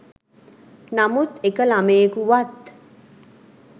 නමුත් එක ළමයෙකුවත්